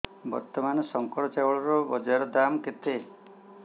ବର୍ତ୍ତମାନ ଶଙ୍କର ଚାଉଳର ବଜାର ଦାମ୍ କେତେ